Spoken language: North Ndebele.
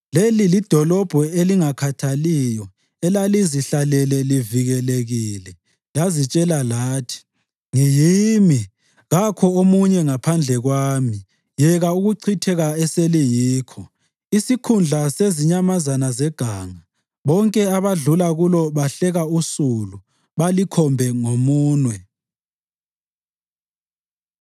Leli lidolobho elingakhathaliyo elalizihlalele livikelekile. Lazitshela lathi: “Ngiyimi, kakho omunye ngaphandle kwami.” Yeka ukuchitheka eseliyikho, isikhundla sezinyamazana zeganga! Bonke abadlula kulo bahleka usulu balikhombe ngeminwe.